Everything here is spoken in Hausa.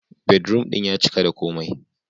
Bedroom ɗin ya cika da komai.